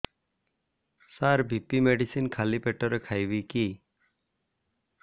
ସାର BP medicine ଖାଲି ପେଟରେ ଖାଇବି କି